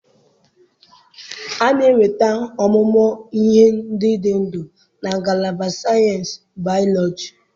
A na-enweta ọmụmụ ihe ndị dị ndụ na ngalaba sayensị Bayọlọjị